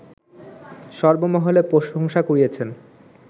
সর্বমহলে প্রশংসা কুড়িয়েছেন